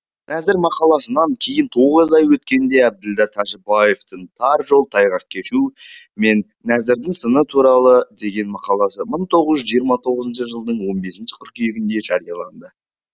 нәзір мақаласынан кейін тоғыз ай өткенде әбділда тәжібаевтың тар жол тайғақ кешу мен нәзірдің сыны туралы деген мақаласы мың тоғыз жүз жиырма тоғызыншы жылдың он бесінші қыркүйегінде жарияланды